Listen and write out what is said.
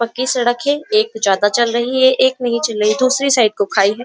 पक्की सड़क है। एक ज्यादा चल रही है एक नहीं चल रही है। दुसरी साइड को खाई है।